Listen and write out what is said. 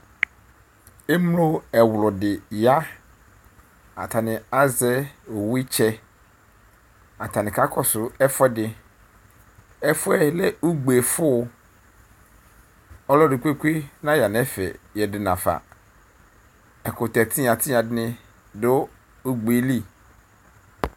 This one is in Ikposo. Emlo ɛɣlʋdi ya, atani azɛ owu itsɛ Atani kakɔsʋ ɛfʋ ɛdi Ɛfʋɛ lɛ ugbe fʋ Ɔlɔdi kpekpe naya n'ɛfɛ ɣǝdʋ n'afa Ɛkʋtɛ tigna tigna dini dʋ ugbe li